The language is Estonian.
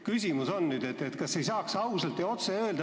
Küsimus on, kas ei saaks ausalt ja otse öelda?